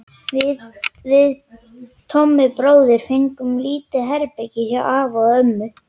Við Tommi bróðir fengum lítið herbergi hjá afa og ömmu.